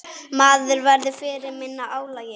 Maður verður fyrir minna álagi.